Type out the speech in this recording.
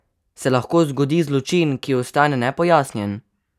Se lahko zgodi zločin, ki ostane nepojasnjen?